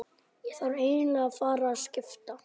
Ég þarf eiginlega að fara að skipta.